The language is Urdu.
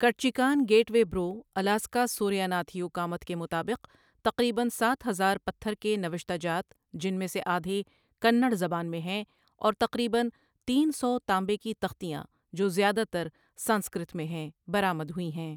کٹچیکان گیٹ وے برو، الاسکا سوریا ناتھ یو کامتھ کے مطابق تقریباً ساتھ ہزار پتھر کے نوشتہ جات، جن میں سے آدھے کنڑ زبان میں ہیں، اور تقریباً تین سو تانبے کی تختیاں جو زیادہ تر سنسکرت میں ہیں، برآمد ہوئی ہیں۔